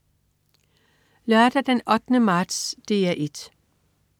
Lørdag den 8. marts - DR 1: